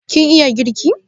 Kin iya girki?